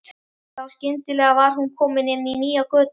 Þá skyndilega var hún komin inn í nýja götu.